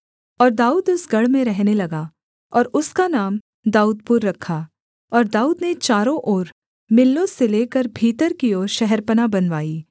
और दाऊद उस गढ़ में रहने लगा और उसका नाम दाऊदपुर रखा और दाऊद ने चारों ओर मिल्लो से लेकर भीतर की ओर शहरपनाह बनवाई